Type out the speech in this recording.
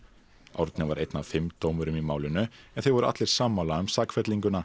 Árni var einn af fimm dómurum í málinu en þeir voru allir sammála um